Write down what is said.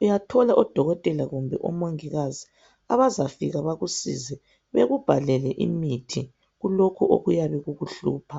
Uyathola odokotela kumbe omongikazi abazafika bakusize bakubhalele imithi kulokhu okuyabe kukuhlupha.